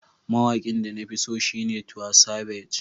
Mawaƙin da na fi so shine Tiwa Savage.